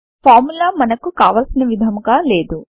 formula మనకు కావలిసిన విధముగా లేదు